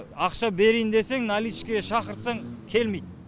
ақша берейін жесең наличкіге шақырсаң келмейді